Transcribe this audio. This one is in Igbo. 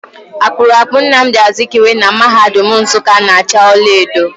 Akpụrụakpụ Namdị Azikiwe na mahadum Nsukka na acha ọlaedo.